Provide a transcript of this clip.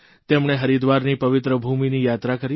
તેમણે હરિદ્વારની પવિત્ર ભૂમિની યાત્રા કરી